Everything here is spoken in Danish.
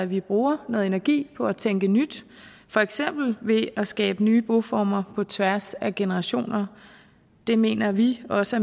vi bruger noget energi på at tænke nyt for eksempel ved at skabe nye boformer på tværs af generationer det mener vi også